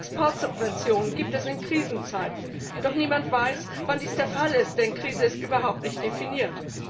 Exportsubventionen gibt es in Krisenzeiten, doch niemand weiß, wann dies der Fall ist, denn Krise ist überhaupt nicht definiert.